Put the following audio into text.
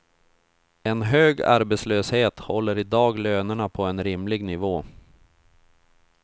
En hög arbetslöshet håller i dag lönerna på en rimlig nivå.